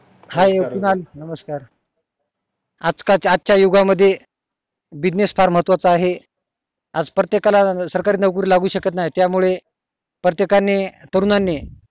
आज चा आज च्या युगा मध्ये युगा मध्ये business फार महत्वा चा आहे आज प्रत्येकाला सरकारी नोकरी लागू शकत नई त्या मुळे प्रत्येकानी तरुणांनी